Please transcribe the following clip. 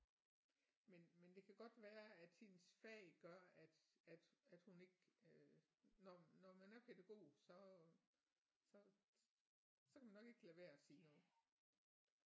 Men men det kan godt være at hendes fag gør at at at hun ikke øh når når man er pædagog så så så kan man nok ikke lade være at sige noget